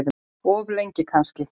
Of lengi kannski.